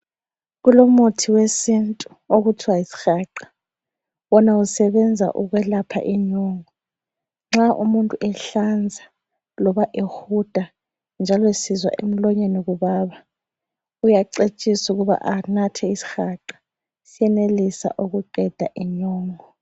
Kulomuthi wesintu okuthiwa yisihaqa. Wona usebenza ukwelapha inyongo. Nxa umuntu ehlanza loba ehuda njalo esizwa emlonyeni kubaba uyacetshiswa ukuthi anathe isihaqa siyenelisa ukuqeda inyongo.